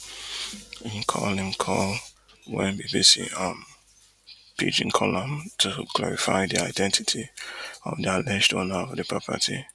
im call im call wen bbc um pidgin call am to clarify di identity of di alleged owner of di property